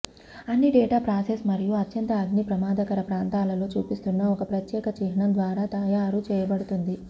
అన్ని data process మరియు అత్యంత అగ్ని ప్రమాదకర ప్రాంతాలలో చూపిస్తున్న ఒక ప్రత్యేక చిహ్నం ద్వారా తయారు చేయబడుతుంది